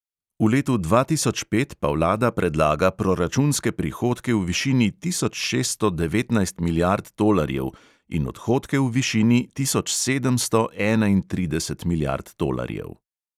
V letu dva tisoč pet pa vlada predlaga proračunske prihodke v višini tisoč šeststo devetnajst milijard tolarjev in odhodke v višini tisoč sedemsto enaintrideset milijard tolarjev.